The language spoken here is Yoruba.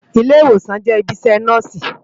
Ilé-Iwósán jè ibi iṣè Nòsi